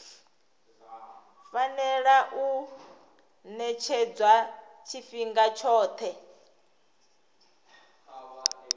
fanela u ṅetshedzwa tshifhinga tshoṱhe